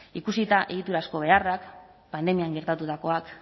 ikusita egiturazko beharrak pandemian gertatutakoak